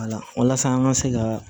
walasa an ka se ka